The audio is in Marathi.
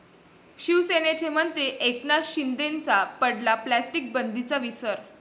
शिवसेनेचे मंत्री एकनाथ शिंदेंनाच पडला प्लास्टिक बंदीचा विसर!